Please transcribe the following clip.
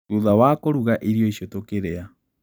Thutha wa kũruga irio icio, tũkĩrĩa.